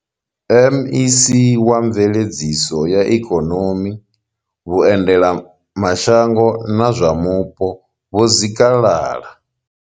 MEC wa mveledziso ya Ikonomi, vhuendelama shango na zwa mupo vho Zikalala.